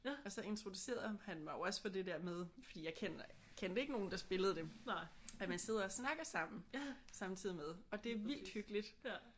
Og så introducerede han mig jo også for det der med fordi jeg kender kendte ikke nogen der spillede det at man sidder og snakker sammen samtidig med. Og det er vildt hyggeligt